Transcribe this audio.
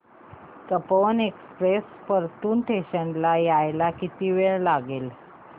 Tapovan express Partur station ला यायला किती वेळ लागेल